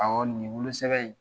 nin ye wolosɛbɛn ye.